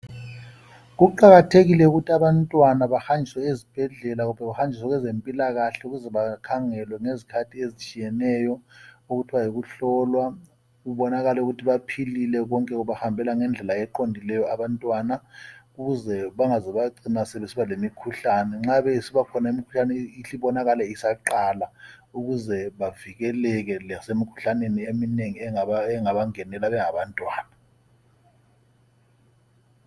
kuqakatheile ukuthi abantwana bahanjiswe ezibhedlela kumbe behanjiswe kwezempilakahle ukuze bakhangelwe ngezikhathi ezitshiyeneyo okuthiwa yikuhlolwa kubonakale ukuthi baphilile konke kubahambela ngendlela eqondileyo ukze bangaze bacina sebesiba lemikhuhlane nxa besibakhona imikhuhlane ihle ibonakale isaqala ukuze bavikeleke lasemikhuhlaneni eminengi engaba ngenela bengabantwana